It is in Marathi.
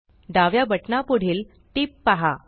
डाव्या बटना पुढील टिप पहा